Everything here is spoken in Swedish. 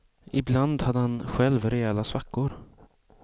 Ibland hade han själv rejäla svackor.